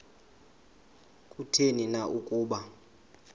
kutheni na ukuba